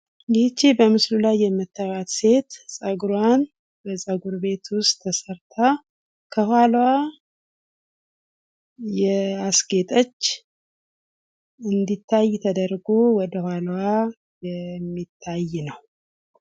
ይች በምስሉ ላይ የምትያት ሴት ፀጉሯን በፀጉር ውስጥ ቤት ተሰርታ ከኋላዋ ያስጌጠች እንዲታይ ተደርጎ እንዲታይ ተደርጎ የሚታይ ነው።